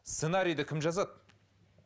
сценарийді кім жазады